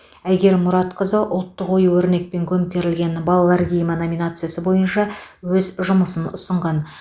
әйгерім мұратқызы ұлттық ою өрнекпен көмкерілген балалар киімі номинациясы бойынша өз жұмысын ұсынған